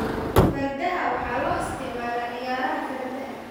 Fardaha waxa loo isticmaalaa ciyaaraha fardaha.